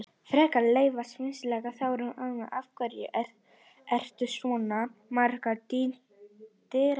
Frekara lesefni á Vísindavefnum Þróun almennt Af hverju eru til svona margar dýrategundir?